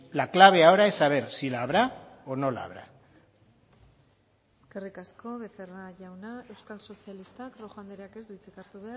la clave ahora es saber si la habrá o no la habrá eskerrik asko becerra jauna euskal sozialistak rojo andreak ez du hitzik hartu